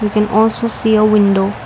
we can also see a window.